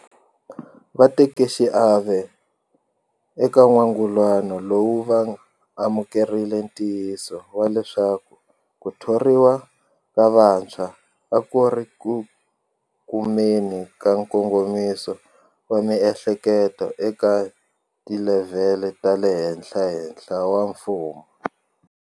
Vatekaxiave eka n'wangulano lowu va amukerile ntiyiso wa leswaku ku thoriwa ka vantshwa a ku ri ku kumeni ka nkongomiso wa miehleketo eka tilevhele ta le henhlahenhla ta mfumo.